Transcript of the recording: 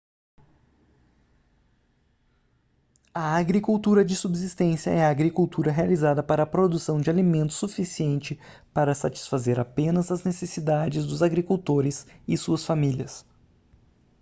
a agricultura de subsistência é a agricultura realizada para a produção de alimento suficiente para satisfazer apenas as necessidades dos agricultores e suas famílias